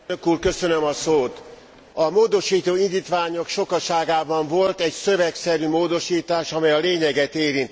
A módosító indítványok sokaságában volt egy szövegszerű módosítás, amely a lényeget érintette.